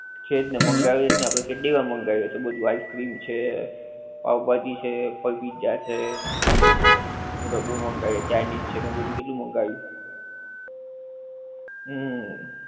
છે જ ને મંગાવીએ જ ને આપડે કેટલી વાર મંગાવીએ છે બધુ આઇસ ક્રીમ છે, પાંવ ભાજી છે, પછી પિઝા છે. બધુ મંગાવીએ છે ચાઇનિજ છે ને એ બધુ કેટલું મંગાવ્યું. હુંમ.